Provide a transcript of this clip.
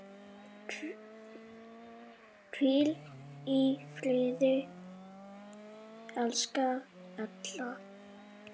Hvíl í friði, elsku Erla.